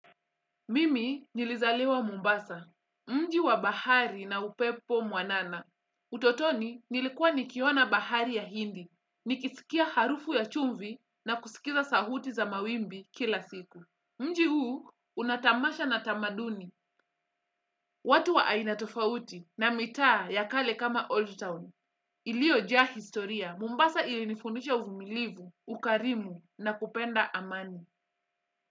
Mimi nilizaliwa Mombasa, mji wa bahari na upepo mwanana. Utotoni nilikuwa nikiona bahari ya hindi, nikisikia harufu ya chumvi na kusikiza sauti za mawimbi kila siku. Mji huu una tamasha na tamaduni, watu wa aina tofauti na mitaa ya kale kama Old Town. Iliojaa historia, Mombasa ilinifundisha uvumilivu, ukarimu na kupenda amani.